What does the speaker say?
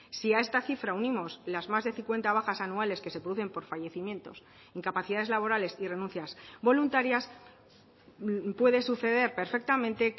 si a esta cifra unimos las más de cincuenta bajas anuales que se producen por fallecimientos incapacidades laborales y renuncias voluntarias puede suceder perfectamente